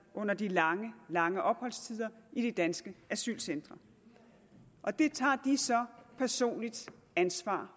under de lange lange opholdstider i de danske asylcentre og det tager de så personligt ansvar